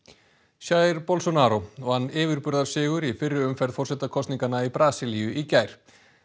jair Bolsonaro vann yfirburðasigur í fyrri umferð forsetakosninganna í Brasilíu í gær